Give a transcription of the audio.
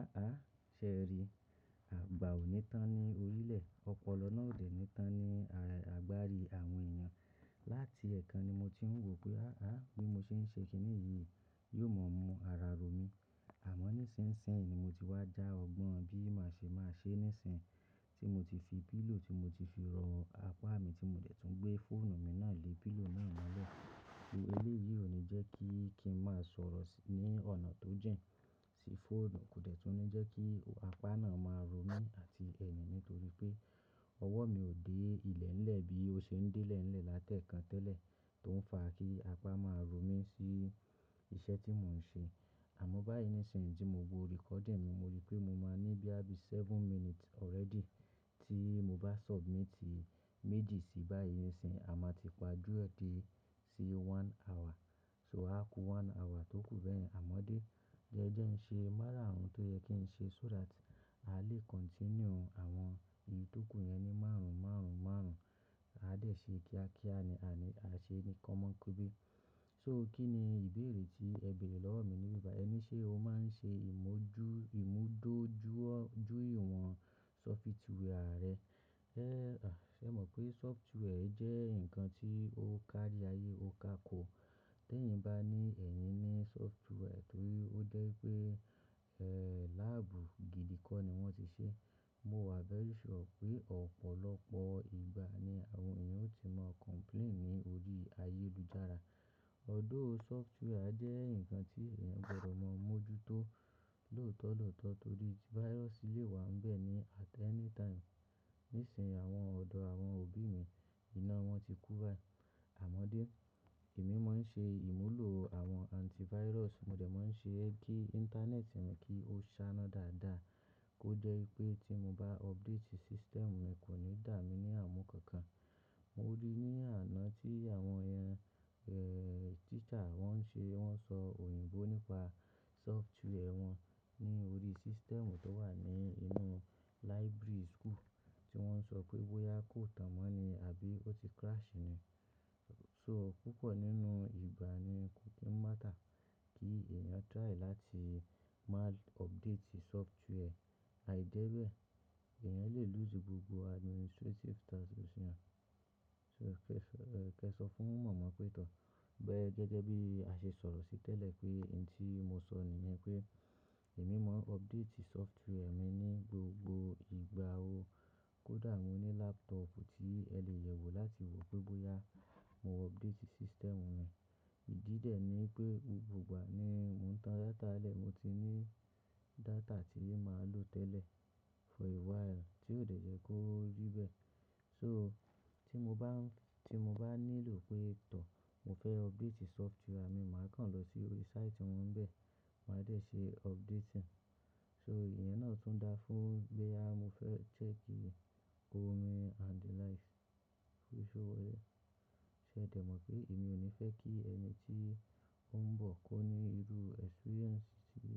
Áhà, ṣé ẹ ri, àgbà ò ní tán ní orílẹ̀, ọpọlọ náà ò de ni tán ní àgbárí àwọn èèyàn. Láti ẹ̀ẹ̀kan ni mo ti ń wò pé á á bí mo ṣe ń ṣe kíní yìí, yóò mọ mú ara ro mí. Àmọ́ ní ṣinsin yìí ni mo ti wá já ọgbọ́n bí màá ṣe máa ṣe nísìn tí mo ti fi pillow tí mo ti fi ro apá mi tí mo dẹ̀ tún gbé fóònù mi náà lé pillow náà mọ́lẹ̀. Ki eléyìí ò ní jẹ́ kí kí ń má sọ̀rọ̀ sí ní ọ̀nà tó jìn sí fóònù, kò dẹ̀ tún ní jẹ́ kí apá náà máa ro mí àti ẹyin nítorí pé ọwọ́ mi ò dé ilẹ̀ ńlẹ̀ bí ó ṣe ń dé ilẹ̀ ńlẹ̀ láti ẹ̀ẹ̀kan tẹ́lẹ̀ tó ń fa kí apá máa ro mí sí iṣẹ́ tí mò ń ṣe. Àmọ́ báyìí ní sìn yìí tí mo wo recording mi, mo rí pé mo máa ní boya bií seven minutes already tí mo bá submit méjì sí báyen nisin, a máa ti pa á jù ẹ́ dé sí one hour. So a kú one hour tókù bẹ́ẹ̀. Àmọ́dé, jẹ́ jẹ́ ń ṣe márà-àrun tó yẹ kí ń ṣe so that a lè continue àwọn ìyí tó kù yẹn ní márùn-ún márùn-ún márùn-ún. A dẹ̀ ṣe kíákíá ni a ní a ṣe ni kọ́mọ n kóbe. So kí ni ìbéèrè tí ẹ béèrè lọ́wọ́ mi ní báyìí? Ẹ ní ṣé o máa ń ṣe ìmójú-- ìmúdójú jú ìwọ̀n software rẹ. Ẹ̀, à, ẹ mọ̀ pé software jẹ́ nǹkan tí ó kárí ayé ó ká oko. Tẹ́ eyìn bá ní ẹ̀yin ní software torí ó jẹ́ pé, lab gidi kọ́ ni wọ́n ti ṣe, mo wà very sure pé ọ̀pọ̀lọpọ̀ ìgbà ni àwọn èèyàn ó ti máa complain ní orí ayélujára. Although software jẹ́ nǹkan tí èèyàn gbọdọ̀ máa mójútó lòtọ̀ọ̀tọ̀ torí virus lè wá ń bẹ ní at any time. Ní sìnyìí àwọn ọ̀dọ́ àwọn òbí mi iná wọn ti kú bá. Àmọ́dé, èmi máa ń ṣe ìmúlò àwọn antivirus, mo dẹ̀ máa ń ṣe ki íńtánẹ́ẹ̀tì mi kí ó saná dáadáa tó jẹ́ wipé tí mo bá update system mi kò ní dà mí ní àmú kankan. Mo rí ní àná tí àwọn, ẹ́ẹ̀, teacher wọ́n ń ṣe wọ́n sọ òyìnbó nípa software wọn ní orí system tó wà ní inú library school tí wọ́n ń sọ pé bóyá kò tan mọ́ ni àbí ó ti crash ni. So púpọ̀ nínú ìgbà ni kò kí ń matter kí èèyàn try láti má update software. Áì jẹ́ bẹ́ẹ̀, èèyàn lè lose gbogbo administrative taski So kí ẹ sọ fún màmá pé tọ. Ìgbẹ́ gẹ́gẹ́ bí a ṣe sọ̀rọ̀ sí tẹ́lẹ̀ pé ǹ tí mo sọ nìyẹn pé èmi máa update software mi ní gbogbo ìgbà wo. Kódà mo ní laptop tí ẹ lè yẹ̀wò láti wò pé bóyá mo update system mi. Ìdí dè ni pé gbogbo ìgbà ni mò ń tan data lẹ̀, mo ti ní data tí màá lò tẹ́lẹ̀ for a while tí ò dẹ̀ jẹ́ kó rí bẹ́ẹ̀. So tí mo bá ń fi-- tí mo bá nílò pé tọ mo fẹ́ update software mi, màá kàn lọ sí orí site wọn bẹ́ẹ̀, màá dẹ̀ ṣe update rẹ̀. So ìyẹn náà tún da fún bí à mo fẹ́ chẹ́ẹ̀kì orin and the likes. Ṣé o ṣé ẹ dẹ̀ mọ̀ pé èmi ò ní fẹ́ kí ẹni tí ó ń bọ̀ kó ní irú experience tí